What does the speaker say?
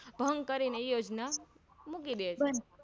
ભંગ કરી એ યોજના મૂકી ડે છે